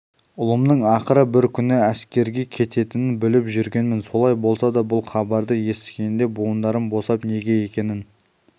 ұлымның ақыры бір күні әскерге кетерін біліп жүргенмін солай болса да бұл хабарды есіткенде буындарым босап неге екенін